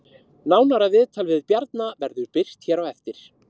Nánara viðtal við Bjarna verður birt hér á eftir